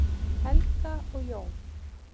Helga og Jón.